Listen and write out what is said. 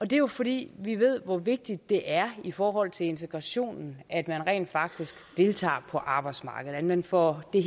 det er jo fordi vi ved hvor vigtigt det er i forhold til integrationen at man rent faktisk deltager på arbejdsmarkedet at man får den